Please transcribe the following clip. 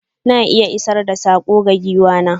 Na iya isar da sako ga giwa na.